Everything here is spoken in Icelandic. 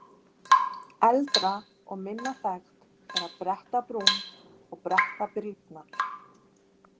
Eldra og minna þekkt er að bretta brún eða bretta brýnnar.